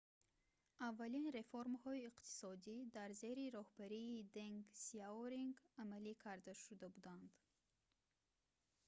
аввалин реформаҳои иқтисодӣ дар зери роҳбарии денг сияоринг амалӣ карда шуда буданд